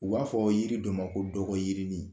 U b'a fɔ yiri dɔ ma ko dɔgɔyirini